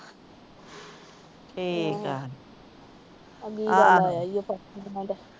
ਠੀਕ ਏ।